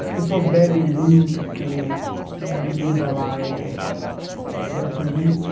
As pessoas bebem muito porque a bebida lá é é gratuita.